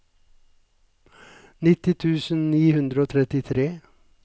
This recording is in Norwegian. nitti tusen ni hundre og trettitre